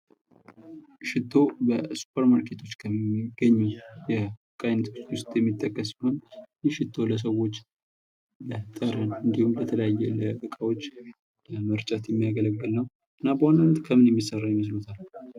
ሽቶ በሱፐር ማርኬቶች ከሚገኙ ነገሮች ውስጥ የሚጠቀስ ሲሆን ይህ ሽቶ ለሰዎች ለጠረን እንዲሁም ለተለያዩ ዕቃዎች ለመርጨት የሚያገለግል ነው ።እና በዋናነት ከምን የሚሠራ ይመስሎታል?